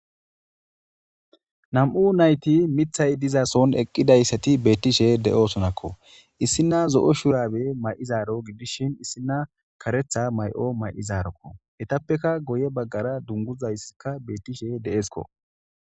nam7u nayti mithay dizason eqqidayssati beettishe de7oosonakko issina zo7o shurabe may7izaaro gidishin issina karetha may7o may7izaarokko hetappeka goye baggara dunguzayssika beettishe de7eskko